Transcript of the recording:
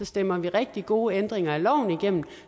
stemmer vi rigtig gode ændringer af loven igennem